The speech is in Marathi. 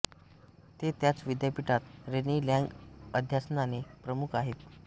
ते त्याच विद्यापीठात रेनी लॅंग अध्यासनाचे प्रमुख आहेत